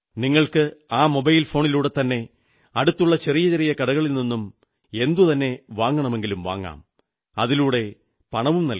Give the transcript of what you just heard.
നിങ്ങൾക്ക് ആ മൊബൈൽ ഫോണിലൂടെത്തന്നെ അടുത്തുള്ള ചെറിയ ചെറിയ കടകളിൽ നിന്നും എന്തുതന്നെ വാങ്ങണമെങ്കിലും വാങ്ങാം അതിലൂടെത്തന്നെ പണവും നൽകാം